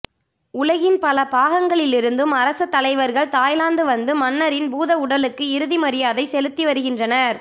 உலகின் பல பாகங்களிலிருந்தும் அரச தலைவர்கள் தாய்லாந்து வந்து மன்னரின் பூதவுடலுக்கு இறுதி மரியாதை செலுத்தி வருகின்றனர்